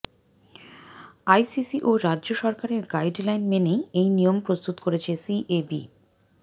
ICC ও রাজ্য সরকারের গাইড লাইন মেনেই এই নিয়ম প্রস্তুত করেছে সিএবি